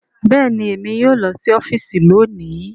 Bẹẹni, Èmí yóò lọ si ọfiisi lóni